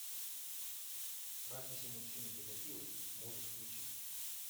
разве все мужчины педофилы можешь включить